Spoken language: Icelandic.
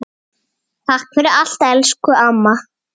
Keypti sér gyltur og gelti.